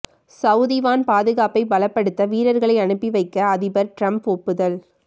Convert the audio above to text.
Saudi வான் பாதுகாப்பை பலப்படுத்த வீரர்களை அனுப்பி வைக்க அதிபர் டிரம்ப் ஒப்புதல்